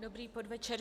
Dobrý podvečer.